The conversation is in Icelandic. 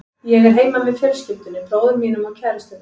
Ég er heima með fjölskyldunni, bróður mínum og kærustunni.